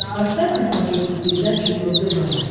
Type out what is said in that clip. поставь на смотрешке передачу его тв